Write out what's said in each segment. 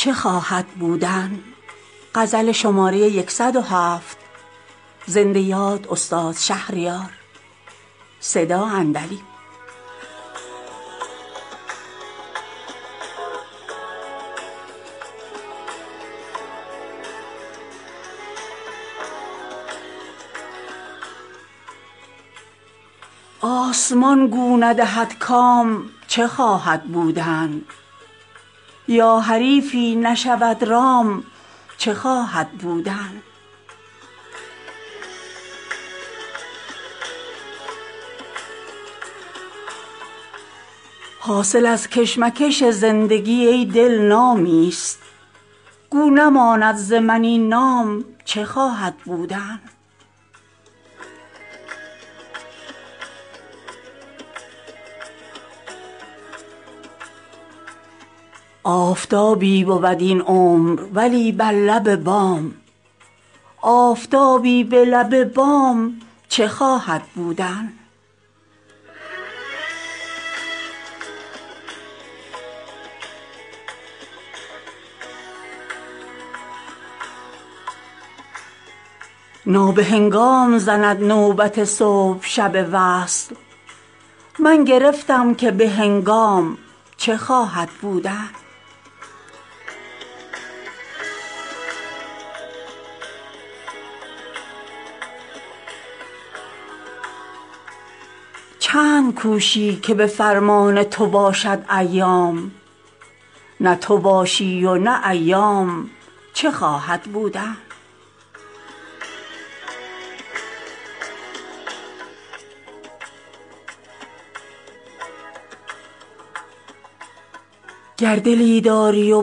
آسمان گو ندهد کام چه خواهد بودن یا حریفی نشود رام چه خواهد بودن حاصل از کشمکش زندگی ای دل نامی است گو نماند ز من این نام چه خواهد بودن آفتابی بود این عمر ولی بر لب بام آفتابی به لب بام چه خواهد بودن مرغ اگر همت آن داشت که از دانه گذشت گو همه پیچ و خم دام چه خواهد بودن نابهنگام زند نوبت صبح شب وصل من گرفتم که بهنگام چه خواهد بودن صبح اگر طالع وقتی ست غنیمت بشمار کس نخوانده ست که تا شام چه خواهد بودن چند کوشی که به فرمان تو باشد ایام نه تو باشی و نه ایام چه خواهد بودن گر دلی داری و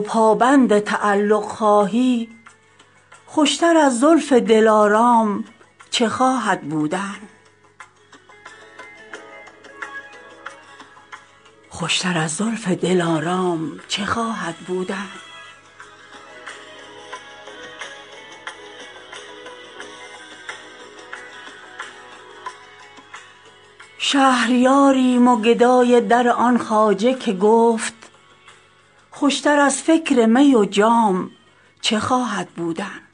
پابند تعلق خواهی خوشتر از زلف دلارام چه خواهد بودن شرط موزونی اخلاق بود شاهد را ورنه نه موزونی اندام چه خواهد بودن بوسه نستانم از آن لب که به دشنام آلود لب آلوده به دشنام چه خواهد بودن پیر ما گفت و چه خوش گفت که از خلق مدار چشم انعام که انعام چه خواهد بودن شهریاریم و گدای در آن خواجه که گفت خوشتر از فکر می و جام چه خواهد بودن